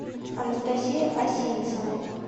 анастасия осинцева